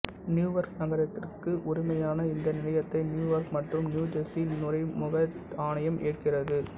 Newark நகரத்திற்கு உரிமையான இந்த நிலையத்தை நியூயார்க் மற்றும் நியூஜெர்சி நுழைமுக ஆணையம் இயக்குகிறது